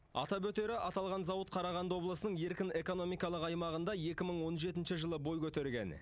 атап өтері аталған зауыт қарағанды облысының еркін экономикалық аймағында екі мың он жетінші жылы бой көтерген